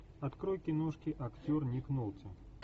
открой киношки актер ник нолти